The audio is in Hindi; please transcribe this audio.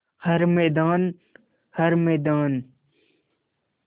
हर मैदान हर मैदान